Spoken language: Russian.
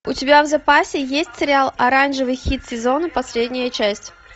у тебя в запасе есть сериал оранжевый хит сезона последняя часть